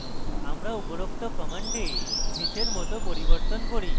আমরা উপরোক্ত command নীচের মত পরিবর্তন করি: